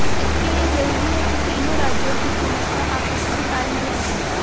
इसके लिए जरूरी है कि तीनों राज्यों की पुलिस का आपस में तालमेल रहे